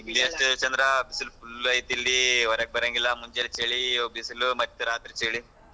ಇಲ್ಲು ಅಷ್ಟ ಚಂದ್ರ ಬಿಸಿಲು full ಐತೆ ಇಲ್ಲಿ ಒರಗ್ ಬರಂಗಿಲ್ಲಾ ಮುಂಜಾಲೆ ಚಳಿ ಈಗ ಬಿಸಿಲು ಮತ್ತೆ ರಾತ್ರಿ ಚಳಿ.